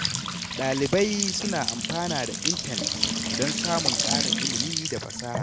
Ɗalibai suna amfana da intanet don samun ƙarin ilimi da fasaha.